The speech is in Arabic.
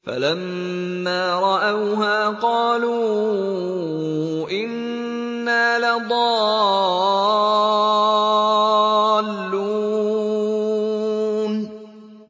فَلَمَّا رَأَوْهَا قَالُوا إِنَّا لَضَالُّونَ